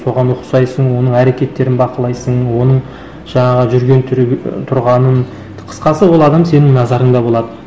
соған ұқсайсың оның әрекеттерін бақылайсың оның жаңағы жүрген тұрғанын қысқасы ол адам сенің назарыңда болады